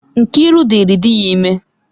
Nkiru dịrị di ya ime.